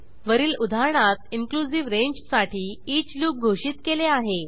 वरील उदाहरणात इनक्लुझिव्ह रेंजसाठी ईच लूप घोषित केले आहे